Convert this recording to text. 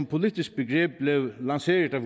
politisk begreb blev lanceret af